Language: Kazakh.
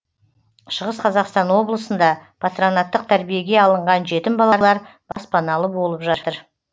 шығыс қазақстан облысында патронаттық тәрбиеге алынған жетім балалар баспаналы болып жатыр